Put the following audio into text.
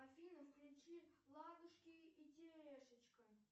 афина включи ладушки и терешечка